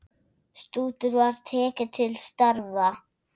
Stútur var tekið til starfa!